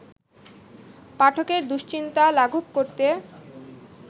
পাঠকের দুশ্চিন্তা লাঘব করতে